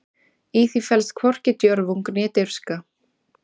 Í því felst hvorki djörfung né dirfska.